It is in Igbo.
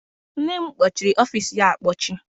Nne m kpọchịrị ọfịịsi ya akpọchi.